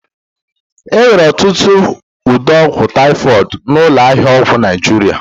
E nwere ọtụtụ ụdị ọgwụ taịfọdụ n'ụlọ ahịa ọgwụ Naịjirịa